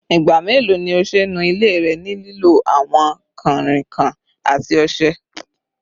Igba melo ni o ṣe nu ile rẹ ni lilo awọn kanrinkan ati ọṣẹ?